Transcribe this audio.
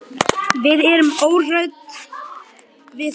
Við erum óhrædd við það.